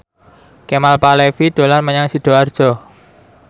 Kemal Palevi dolan menyang Sidoarjo